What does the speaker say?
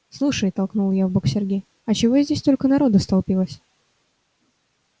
слушай толкнула я в бок сергея а чего здесь столько народу столпилось